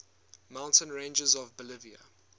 mountain ranges of bolivia